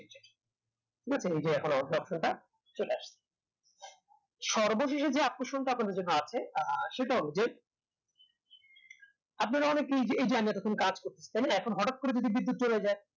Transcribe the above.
এখন এই যে এখন alt option টা চলে আসল সর্ব শেষে যে আকর্ষণটা আপনাদের জন্য আছে আহ সেটা হল যে আপনারা অনেকেই এই যে এতক্ষণ কাজ করছি তাই না এখন হঠাৎ করে যদি বিদ্যুৎ চলে যায়